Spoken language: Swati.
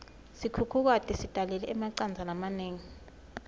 sikhukhukati sitalele emacandza lamanengi